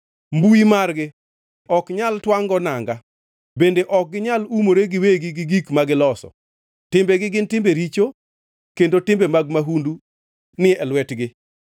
Mbui margi ok nyal twangʼ-go nanga, bende ok ginyal umore giwegi gi gik ma giloso. Timbegi gin timbe richo; kendo timbe mag mahundu ni e lwetgi.